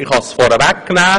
Ich kann es vorwegnehmen: